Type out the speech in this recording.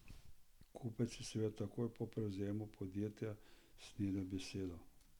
Kupec je seveda takoj po prevzemu podjetja snedel besedo.